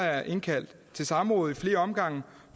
jeg indkaldt til samråd i flere omgange